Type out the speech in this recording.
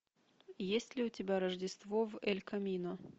есть ли у тебя рождество в эль камино